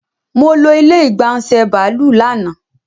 Molo ilé ìgbà ńṣe bàálù lánàá